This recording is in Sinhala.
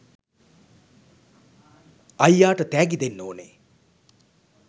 අයියාට තෑගි දෙන්න ඕනෙ.